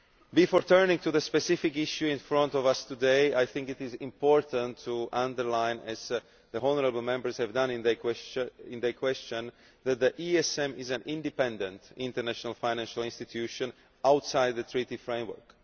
Before turning to the specific issue in front of us today, I think it is important to underline, as the honourable Members have done in their questions, that the ESM is an independent, international financial institution outside the Treaty framework.